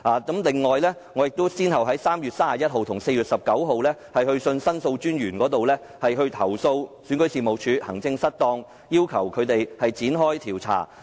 此外，我亦先後於3月31日和4月19日去信申訴專員公署，投訴選舉事務處行政失當，要求展開調查。